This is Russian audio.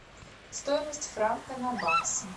стоимость франка на баксы